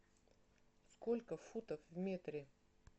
сколько футов в метре